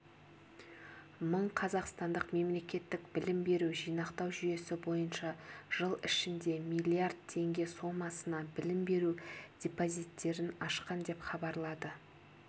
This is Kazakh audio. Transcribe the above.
мың қазақстандық мемлекеттік білім беру жинақтау жүйесі бойынша жыл ішінде миллиард теңге сомасына білім беру депозиттерін ашқан деп хабарлады